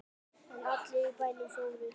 En allir í bænum fórust.